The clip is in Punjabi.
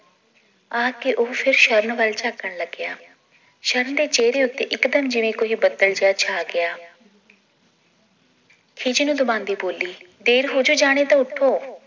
ਆਖ ਕੇ ਉਹ ਫਿਰ ਸ਼ਰਨ ਵੱਲ ਝਾਕਣ ਲੱਗਿਆ ਸ਼ਰਨ ਦੇ ਚੇਹਰੇ ਉੱਤੇ ਇਕਦਮ ਜਿਵੇਂ ਕੋਈ ਬਦਲ ਜੇਹਾ ਛਾ ਗਿਆ ਖਿਝਣ ਦਬਾਂਦੀ ਬੋਲੀ ਦੇਰ ਹੋਜੇ ਜਾਣੀ ਤਾਂ ਉਠੋ